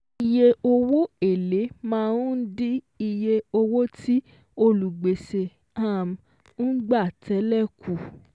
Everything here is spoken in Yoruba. Iye owó èlé máa ń dín iye owó tí olùgbèsè um ń gbà tẹ́lẹ̀ kù